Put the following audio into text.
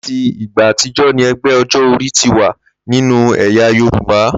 Láti ìgbà àtijó̩ ni e̩gbé̩ o̩jó̩-orí ti wà nínú è̩yà Yorùbá